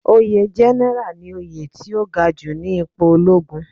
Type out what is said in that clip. Oyè general ni oyè tó gaju ni ipo ológun